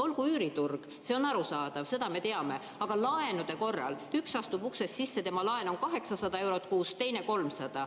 Olgu üüriturg, see on arusaadav, seda me teame, aga laenude korral üks astub uksest sisse, tema laen on 800 eurot kuus, teisel on 300.